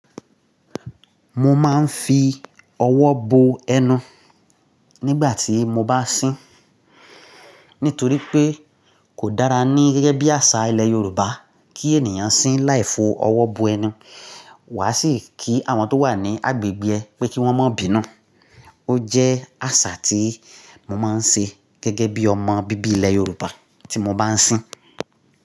Mo máa ń fi ọwọ́ bo ẹnu nígbà tí mo bá sín, nítorí pé kò dára ní gẹ́gẹ́ bí àṣà ilẹ̀ Yorùbá kí ènìyàn sín láì fo ọwọ́ bo ẹnu. Wà á sì kí àwọn tó wà ní agbègbè ẹ pé kí wọ́n má bí inú. Ó jẹ́ àṣà tí mo máa ń ṣe gẹ́gẹ́ bí ọmọ bíbí ilẹ̀ Yorùbá tí mo bá sín.